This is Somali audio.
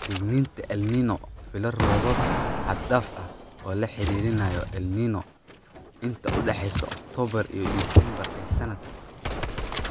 Digniinta El Niño Filo roobab xad dhaaf ah oo lala xiriirinayo El Niño inta u dhaxaysa Oktoobar iyo Disembar ee sanadkan.